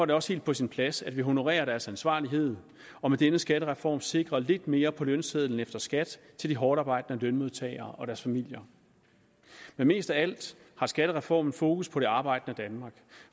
det også helt på sin plads at vi honorerer deres ansvarlighed og med denne skattereform sikrer lidt mere på lønsedlen efter skat til de hårdtarbejdende lønmodtagere og deres familier men mest af alt har skattereformen fokus på det arbejdende danmark